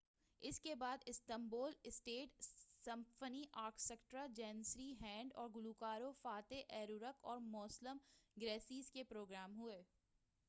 اس کے بعد Istanbul state symphony orchestra Janissary band اور گلوکاروں فاتح ایرکوک اور موسلم گرسیس کے پروگرام ہوئے